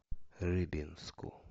рыбинску